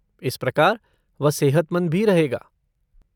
इस प्रकार, वह सेहतमंद भी रहेगा।